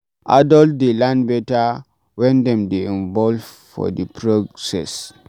Adult dey learn better when dem dey involved for di process